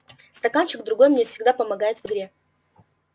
стаканчик другой мне всегда помогает в игре